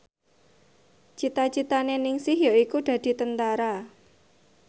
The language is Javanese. cita citane Ningsih yaiku dadi Tentara